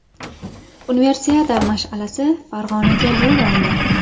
Universiada mash’alasi Farg‘onaga yo‘l oldi.